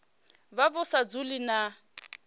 vha vhu sa dzhielwi nha